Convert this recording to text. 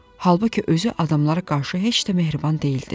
Halbuki özü adamlara qarşı heç də mehriban deyildi.